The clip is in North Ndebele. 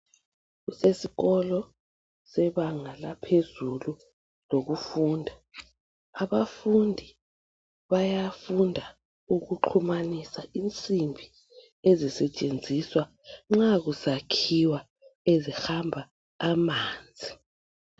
Kusesikolo sebanga laphezulu lokufunda Abafundi bayafunda ukuxhumanisa insimbi ezisetshenziswa nxa kusakhiwa ezihamba amanzi